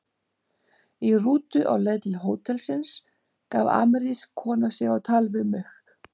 Í rútu á leið til hótelsins gaf amerísk kona sig á tal við mig.